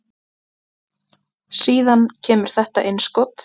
Síðan kemur þetta innskot.